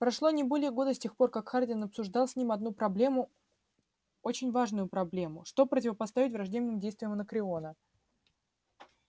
прошло не более года с тех пор как хардин обсуждал с ним одну проблему очень важную проблему что противопоставить враждебным действиям анакреона